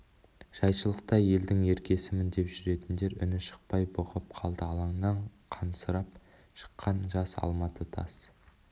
жайшылықта елдің еркесімін деп жүретіндер үні шықпай бұғып қалды алаңнан қансырап шыққан жас алматы тас